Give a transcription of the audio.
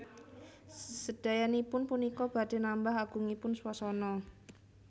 Sedayanipun punika badhé nambah agungipun swasana